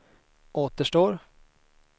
återstår